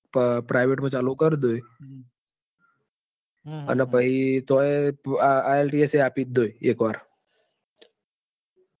બ private માં ચાલુ કરી દોય. પછી તોય ielts પણ આપીજ દઈસ એક વાર.